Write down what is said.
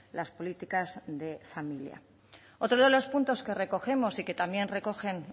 las políticas de familia otro de los puntos que recogemos y que también recogen